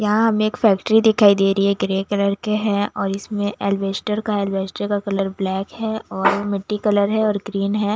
यहाँ हमें एक फैक्ट्री दिखाई दे रही है ग्रे कलर के है और इसमें एलवेस्टर का एल्वेस्टर का कलर ब्लैक है और मिट्टी कलर है और ग्रीन है --